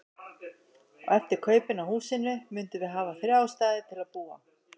Og eftir kaupin á húsinu mundum við hafa þrjá staði til að búa á.